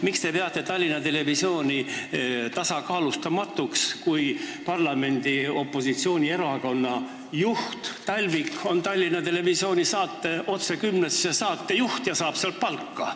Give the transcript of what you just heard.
Miks te peate Tallinna Televisiooni tasakaalustamatuks, kui parlamendi opositsioonierakonna juht Talvik on Tallinna Televisiooni saate "Otse kümnesse" saatejuht ja saab sealt palka?